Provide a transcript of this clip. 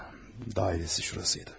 Dairəsi burası idi.